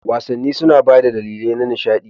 Wasanni suna ba da dalilai na nishaɗi